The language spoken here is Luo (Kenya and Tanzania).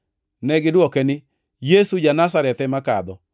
Negidwoke niya, “Yesu ja-Nazareth ema kadho.”